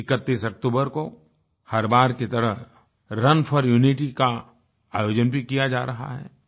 31 अक्तूबर को हर बार की तरह रुन फोर यूनिटी का आयोजन भी किया जा रहा है